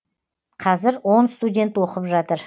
қазір он студент оқып жатыр